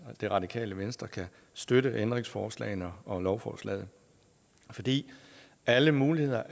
at det radikale venstre kan støtte ændringsforslagene og lovforslaget fordi alle muligheder